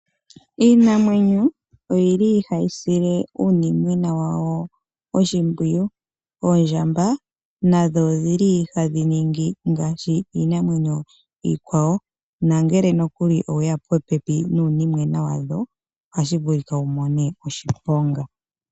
Iinamwenyo oyili hayi sile uunimwena wawo oshimpwiyu . Oondjamba nadho odhili hadhi ningi ngaashi iinamwenyo iikwawo . Ngele nokuli weya popepi nuunimwena wadho , ohashi vulika wumone oshiponga.